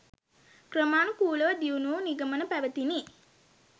ක්‍රමානුකුලව දියුණු වූ නිගමන පැවැතිණි.